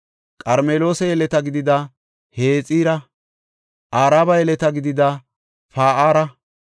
Qarmeloosa yeleta gidida Hexira, Araba yeleta gidida Pa7aara,